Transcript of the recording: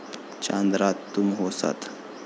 चांद रात तुम हो साथ